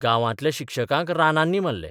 गांवांतल्या शिक्षकांक रानांनी मारले.